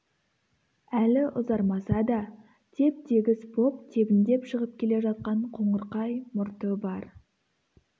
әлі ұзармаса да теп-тегіс боп тебіндеп шығып келе жатқан қоңырқай мұрты бар